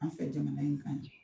An fɛ jamana in kan yan.